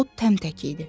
O təmtək idi.